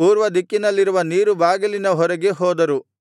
ಪೂರ್ವದಿಕ್ಕಿನಲ್ಲಿರುವ ನೀರು ಬಾಗಿಲಿನವರೆಗೆ ಹೋದರು